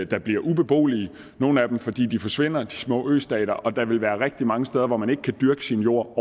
der bliver ubeboelige nogle af dem fordi de forsvinder de små østater og der vil være rigtig mange steder hvor man overhovedet ikke kan dyrke sin jord